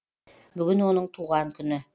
бүгін оның туған күні